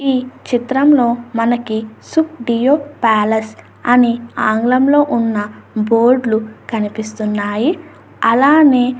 ఈ చిత్రంలో మనకి సుప్పు డియో ప్యాలెస్ అని ఆంగ్లంలో ఉన్న బోర్డు లు కనిపిస్తూ ఉన్నాయి. అలానే --